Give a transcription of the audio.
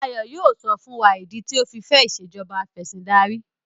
Ayo yíò sọ fún wá ni idi tio ọ fí fè Ìṣèjọba Afẹ̀sìndarí